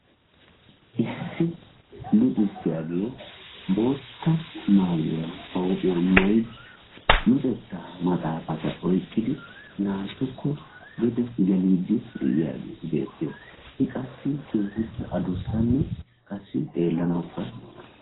Issi luxissiyage bootta maayuwa ba huuphiyan maayidi luxettaa maxaafata oyqqidi naatukko bixe geliiddi de"iyagee beettes. I qassi keehippe adussanne xeellanawukka...